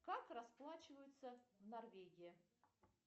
как расплачиваются в норвегии